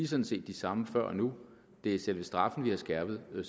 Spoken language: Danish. sådan set de samme før og nu det er selve straffen vi har skærpet det